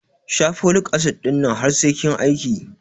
Sha folik asid ɗin nan har sai kin aiki